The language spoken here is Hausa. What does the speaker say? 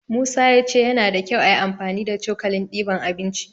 Musa ya ce yana da kyau ayi amfani da cokalin diban abinci.